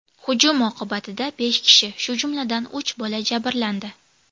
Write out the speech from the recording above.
Hujum oqibatida besh kishi, shu jumladan, uch bola jabrlandi.